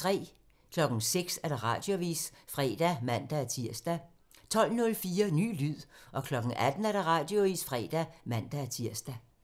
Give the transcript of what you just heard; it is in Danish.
06:00: Radioavisen (fre og man-tir) 12:04: Ny lyd 18:00: Radioavisen (fre og man-tir)